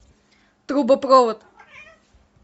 трубопровод